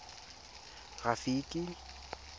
rafiki